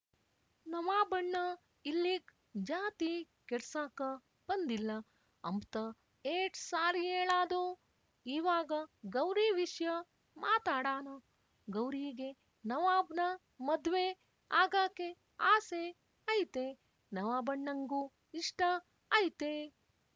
ನವಾಬಣ್ಣ ಇಲ್ಲಿಗ್ ಜಾತಿ ಕೆಡ್ಸಾಕ ಬಂದಿಲ್ಲ ಅಂಬ್ತ ಏಟ್‍ಸಾರಿಯೇಳಾದು ಇವಾಗ ಗೌರಿವಿಸ್ಯ ಮಾತಾಡಾ ಗೌರೀಗೆ ನವಾಬ್‍ನ ಮದ್ವೆ ಆಗಾಕೆ ಆಸೆ ಐತೆ ನವಾಬಣ್ಣಂಗೂ ಇಷ್ಟ ಐತೆ